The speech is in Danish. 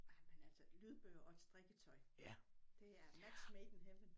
Ej men altså lydbøger og et strikketøj det er match made in heaven